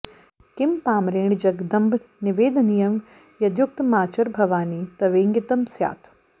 किं पामरेण जगदम्ब निवेदनीयं यद्युक्तमाचर भवानि तवेङ्गितं स्यात्